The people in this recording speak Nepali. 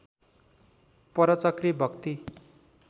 परचक्री भक्ति